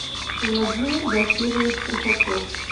владимир басирович трухачев